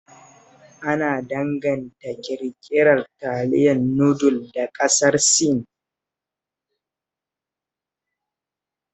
Ana danganta ƙirƙirar taliyar nudul da ƙasar Sin